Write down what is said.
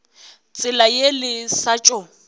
tsela ye le sa tšo